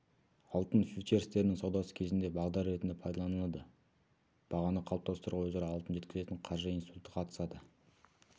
алтын фьючерстерінің саудасы кезінде бағдар ретінде пайдаланылады бағаны қалыптастыруға өзара алтын жеткізетін қаржы институты қатысады